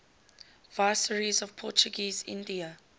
viceroys of portuguese india